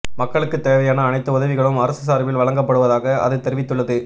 மக்களுக்கு தேவையான அனைத்து உதவிகளும் அரசு சார்பில் வழங்கப்படுவதாக அது தெரிவித்துள்ளது